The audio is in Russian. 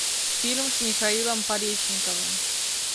фильм с михаилом поречниковым